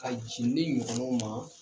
Ka jin ne ɲɔgɔnnaw ma